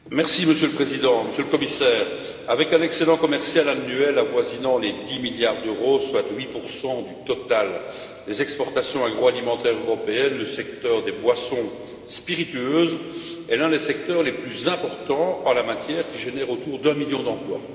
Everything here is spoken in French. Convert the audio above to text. Monsieur le Président, Monsieur le Commissaire, avec un excédent commercial annuel avoisinant les 10 milliards d'euros, soit 8 du total des exportations agroalimentaires européennes, le secteur des boissons spiritueuses est l'un des secteurs les plus importants en la matière et génère autour d'un million d'emplois.